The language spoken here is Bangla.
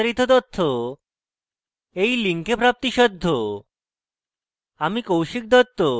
আমি কৌশিক দত্ত এই টিউটোরিয়ালটি অনুবাদ করেছি